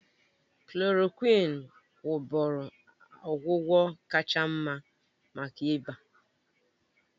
Klòròkwịn wụ́bụ́ru ọgwụgwọ kacha mma maka ịba